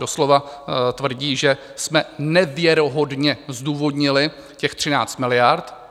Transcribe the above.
Doslova tvrdí, že jsme nevěrohodně zdůvodnili těch 13 miliard.